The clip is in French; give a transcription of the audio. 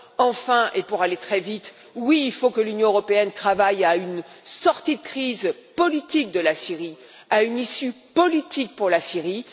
Enfin, et pour aller très vite, oui, il faut que l'Union européenne travaille à une sortie de crise et à une issue politique pour la Syrie.